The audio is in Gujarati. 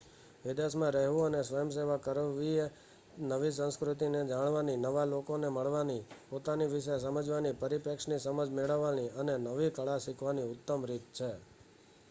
વિદેશ માં રહેવું અને સ્વયંસેવા કરવીએ નવી સંસ્કૃતિ ને જાણવાની નવા લોકો ને મળવાની પોતાના વિશે સમજવાની પરીપેક્ષની સમજ મેળવવાની અને નવી કળા શીખવાની ઉતમ રીત છે